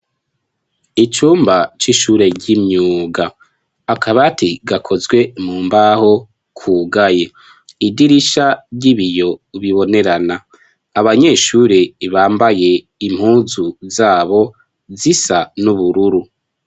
Icumba c'ishure ry'imyuga, akabati gakozwe mu mbaho kugaye, idirisha ry'ibiyo bibonerana, abanyeshure bambaye impuzu zabo zisa n'ubururu.